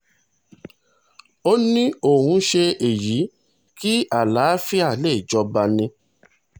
ó ní òun ṣe èyí kí àlàáfíà lè jọba ni